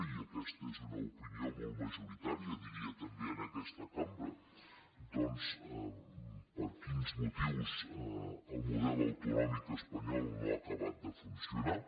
i aquesta és una opinió molt majoritària diria també en aquesta cambra per quins motius el model autonòmic espanyol no ha acabat de funcionar